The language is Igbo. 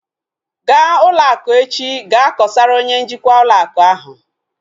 Ga ụlọ akụ echi gaa kosara onye njikwa ụlọ akụ ahu!